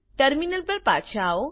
terminal પર પાછા આવો